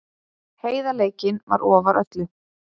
Heiðarleikinn var ofar öllu.